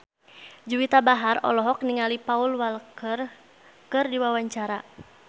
Juwita Bahar olohok ningali Paul Walker keur diwawancara